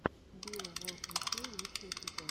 биоволквикей лучший эпизод